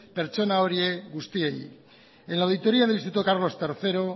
pertsona horiei guztiei en la auditoría del instituto carlos tercero